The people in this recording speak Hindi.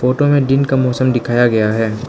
फोटो में दिन का मौसम दिखाया गया है।